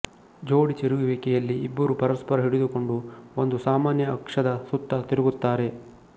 ಜೋಡಿ ತಿರುಗುವಿಕೆ ಯಲ್ಲಿ ಇಬ್ಬರೂ ಪರಸ್ಪರ ಹಿಡಿದುಕೊಂಡು ಒಂದು ಸಾಮಾನ್ಯ ಅಕ್ಷದ ಸುತ್ತ ತಿರುಗುತ್ತಾರೆ